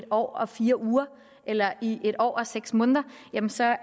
år og fire uger eller i en år og seks måneder så er